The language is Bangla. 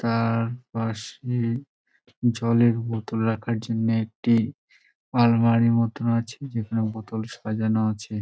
তার পাশে জলের বোতল রাখার জন্য একটি আলমারি মতন আছে যেখানে বোতল সাজানো আছে।